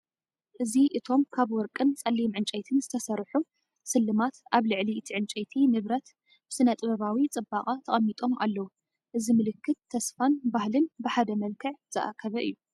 እዚ እቶም ካብ ወርቅን ጸሊም ዕንጨይትን ዝተሰርሑ ስልማት ኣብ ልዕሊ እቲ ዕንጨይቲ ንብረት ብስነ-ጥበባዊ ጽባቐ ተቀሚጠም ኣለው። እዚ ምልክት ተስፋን ባህልን ብሓደ መልክዕ ዝተኣከበ እዩ።